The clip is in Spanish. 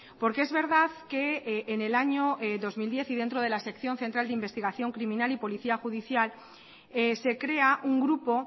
porque es verdad que en el año dos mil diez y dentro de la sección central de investigación criminal y policía judicial se crea un grupo